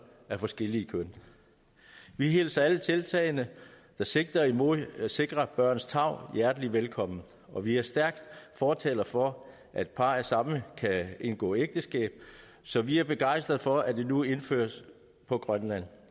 af forskelligt køn vi hilser alle tiltagene der sigter mod at sikre børns tarv hjertelig velkommen og vi er stærke fortalere for at par af samme kan indgå ægteskab så vi er begejstret for at det nu indføres på grønland